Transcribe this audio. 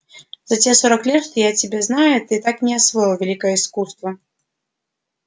за те сорок лет что я тебя знаю ты так и не освоил великое искусство